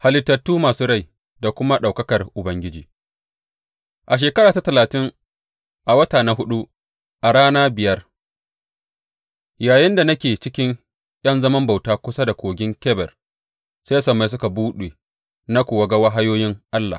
Halittu masu rai da kuma ɗaukakar Ubangiji A shekara ta talatin, a wata na huɗu a rana biyar, yayinda nake cikin ’yan zaman bauta kusa da Kogin Kebar, sai sammai suka buɗe na kuwa ga wahayoyin Allah.